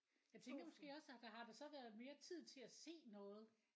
Jeg tænker måske også at der har der så været mere tid til at se noget?